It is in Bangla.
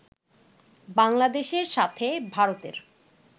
বাংলাদেশের সাথে ভারতের